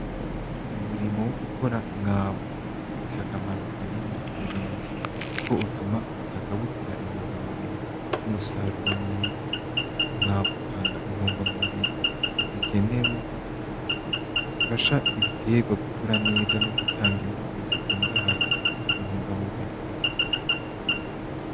Umurimo wogukora umwavu ufise akamaro kanini kumurimyi, kuko utuma ubutaka bugira intungamubiri, numusaruro mwiza. Umwavu utanga intungamubiri zikenewe zifasha ibiterwa gukura neza, nogutanga imbuto zikungahaye kuntungamubiri.